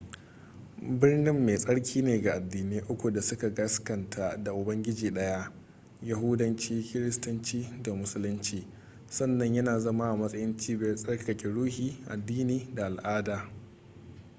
birnin mai tsarki ne ga addinai uku da suka gaskanta da ubangiji daya yahudanci kiristanci da musulunci sannan yana zama a matsayin cibiyar tsarkake ruhi addini da al'ada